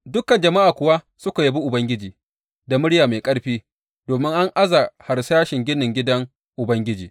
Dukan jama’a kuwa suka yabi Ubangiji da murya mai ƙarfi, domin an aza harsashin ginin gidan Ubangiji.